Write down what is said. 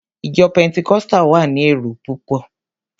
Ìjọ Pẹntikọ́sítà wa ni èrò púpọ̀.